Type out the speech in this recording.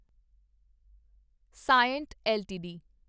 ਸਾਇੰਟ LTD